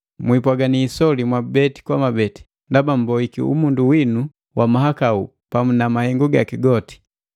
Mwiipwagani isoli mwabeti, ndaba mmboiki umundu winu wa mahakau pamu na mahengu gaki goti,